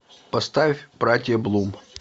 поставь братья блум